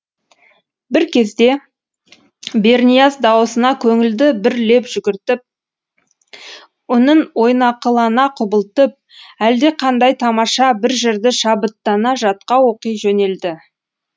бір кезде бернияз дауысына көңілді бір леп жүгіртіп үнін ойнақылана құбылтып әлдеқандай тамаша бір жырды шабыттана жатқа оқи жөнелді